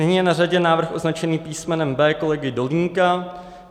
Nyní je na řadě návrh označený písmenem B kolegy Dolínka.